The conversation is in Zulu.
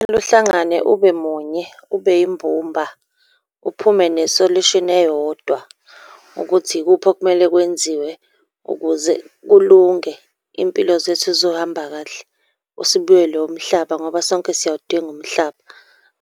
Kumele uhlangane ube munye, ube yimbumba, uphume ne-solution eyodwa, ukuthi ikuphi okumele kwenziwe ukuze kulunge. Iy'mpilo zethu zizohamba kahle sibuyelwe umhlaba, ngoba sonke siyawudinga umhlaba.